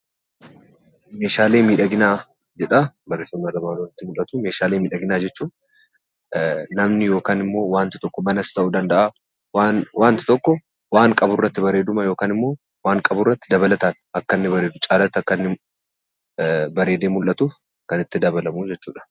Meeshaalee miidhagina jedha. meeshaalee miidhagina jechuun namni yookan immo Manas ta'u danda'a wanti tokko wan qaburratti bareedu yookaanimmo waan qaburratti dabalatan caalatti akkanni bareedu, bareedee mul'atuf kan itti dabalamu jechudha.